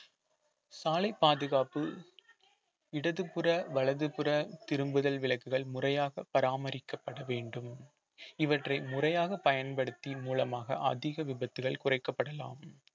சாலை பாதுகாப்பு இடதுபுற வலதுபுற திரும்புதல் விளக்குகள் முறையாக பராமரிக்கப்பட வேண்டும் இவற்றை முறையாக பயன்படுத்தி மூலமாக அதிக விபத்துகள் குறைக்கப்படலாம்